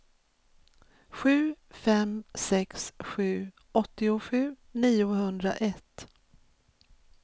sju fem sex sju åttiosju niohundraett